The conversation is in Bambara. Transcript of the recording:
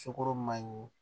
Sukoro ma ɲi